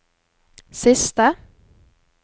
siste